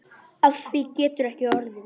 Af því getur ekki orðið.